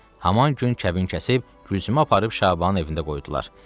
Haman gün kəbin kəsib Gülsümü aparıb Şabanın evində qoydular.